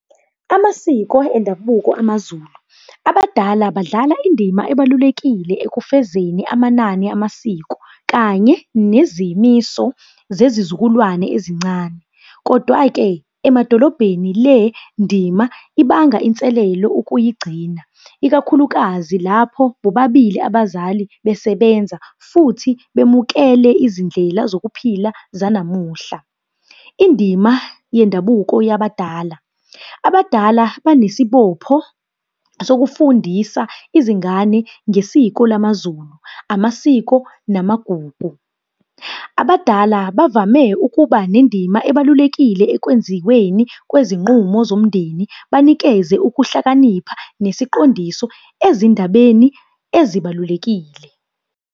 Amasiko endabuko amaZulu. Abadala badlala indima ebalulekile ekufezeni amanani amasiko, kanye nezimiso zezizukulwane ezincane. Kodwa-ke emadolobheni le ndima ibanga inselelo ukuyigcina, ikakhulukazi lapho bobabili abazali besebenza futhi bemukele izindlela zokuphila zanamuhla. Indima yendabuko yabadala, abadala banesibopho sokufundisa izingane ngesiko lamaZulu, amasiko, namagugu. Abadala bavame ukuba nendima ebalulekile ekwenziweni kwezinqumo zomndeni, banikeze ukuhlakanipha nesiqondiso ezindabeni ezibalulekile.